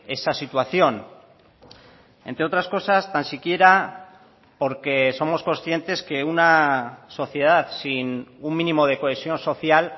esa situación entre otras cosas tan siquiera porque somos conscientes que una sociedad sin un mínimo de cohesión social